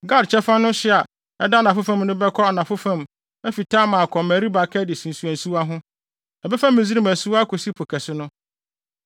Gad kyɛfa no hye a ɛda anafo fam no bɛkɔ anafo fam afi Tamar akɔ Meriba Kades nsuwansuwa ho, ɛbɛfa Misraim asuwa akosi Po Kɛse no.